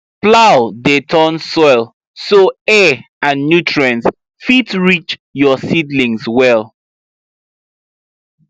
plow dey turn soil so air and nutrients fit reach your seedlings well